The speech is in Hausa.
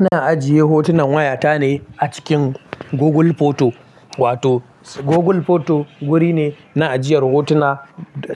Ina ajiye hotunan wayata ne a cikin Google Photo. Wato Google Photo wuri ne na ajiyar hotuna